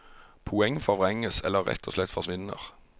Poeng forvrenges eller rett og slett forsvinner.